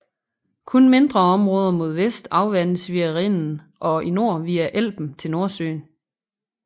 Kun mindre områder mod vest afvandes via Rhinen og i nord via Elben til Nordsøen